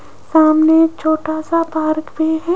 सामने छोटा सा पार्क भी है।